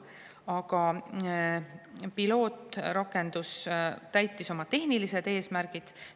Aga pilootrakendus täitis oma tehnilised eesmärgid.